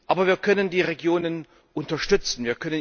Aber wir können die Regionen unterstützen.